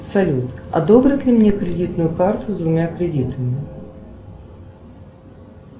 салют одобрят ли мне кредитную карту с двумя кредитами